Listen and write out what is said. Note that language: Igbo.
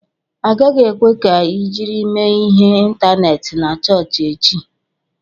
Agaghị ekwe ka ị jiri mee ihe ịntaneetị na chọọchị echi!